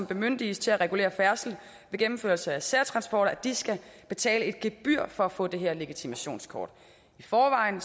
bemyndiges til at regulere færdslen ved gennemførelse af særtransporter skal betale et gebyr for at få det her legitimationskort i forvejen